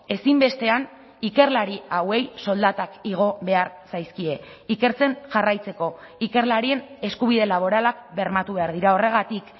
ezinbestean ikerlari hauei soldatak igo behar zaizkie ikertzen jarraitzeko ikerlarien eskubide laboralak bermatu behar dira horregatik